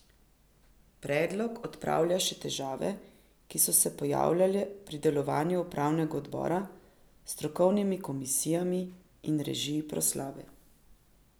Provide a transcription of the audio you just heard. Predlog odpravlja še težave, ki so se pojavljale pri delovanju upravnega odbora s strokovnimi komisijami in režiji proslave.